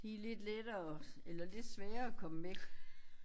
De er lidt lettere eller lidt sværere at komme væk